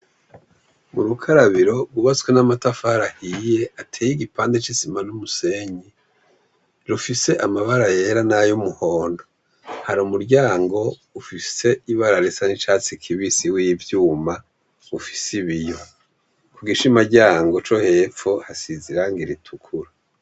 Urukarabiro rw'ubatswe n'amatafari ahiye ateye igipande c'isima n'umusenyi, rufise amabara yera n'ayumuhondo, hari umuryango ufise ibara risa n'icatsi kibisi w'ivyuma ufise ibiyo, kugishima ryango cohepfo hasize irangi ritukura .